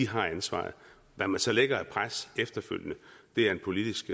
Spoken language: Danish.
har ansvaret hvad man så lægger af pres efterfølgende er en politisk